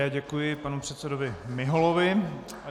Já děkuji panu předsedovi Miholovi.